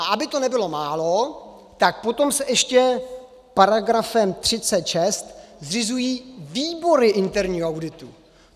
A aby toho nebylo málo, tak potom se ještě paragrafem 36 zřizují výbory interního auditu.